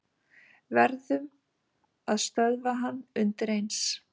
Verðum að stöðva hann undireins.